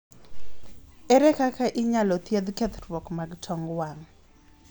ere kaka inyal thiedh kethruok mag tong wang'